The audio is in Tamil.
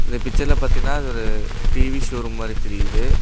இந்த பிச்சர்ல பாத்தீனா அது ஒரு டி_வி ஷோரூம் மாரி தெரியுது.